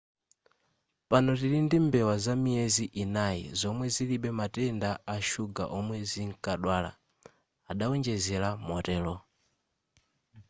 pano tili ndi mbewa zamiyezi inayi zomwe zilibe matenda a shuga omwe zinkadwala adawonjezera motero